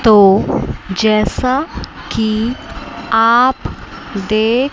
तो जैसा कि आप देख--